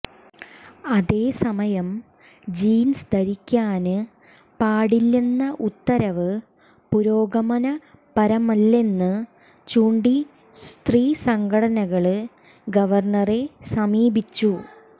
അതേസമയം ജീന്സ് ധരിക്കാന് പാടില്ലെന്ന ഉത്തരവ് പുരോഗമനപരമല്ലെന്നു ചൂണ്ടി സ്ത്രീസംഘടനകള് ഗവര്ണറെ സമീപിച്ചു